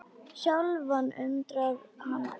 Sjálfan undrar hann getu sína.